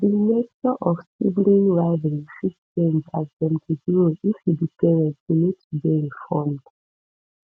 di nature of sibling rivalry fit change as dem dey grow if you be parent you need to dey informed